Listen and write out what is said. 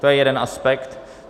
To je jeden aspekt.